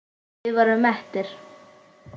Við vorum mettir.